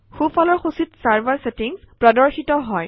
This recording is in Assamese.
সোঁফালৰ সূচীত চাৰ্ভাৰ ছেটিংচ প্ৰদৰ্শিত হয়